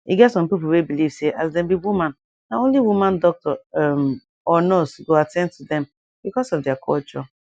eget some people we belive say as dem be woman na only woman doctor um or nurse go attain to dem because of deir culture